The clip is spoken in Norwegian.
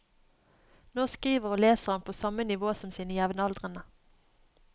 Nå skriver og leser han på samme nivå som sine jevnaldrende.